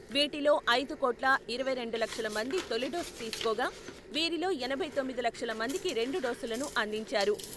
వీటిలో ఐదు కోట్ల ఇరవై రెండు లక్షల మంది తొలిడోసు తీసుకోగా, వీరిలో ఎనభై తొమ్మిది లక్షల మందికి రెండు డోసులను అందించారు.